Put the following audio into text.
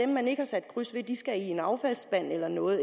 man ikke har sat kryds ved skal i en affaldsspand eller noget